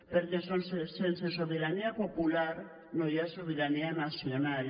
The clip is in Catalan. perquè sense sobirania popular no hi ha sobirania nacional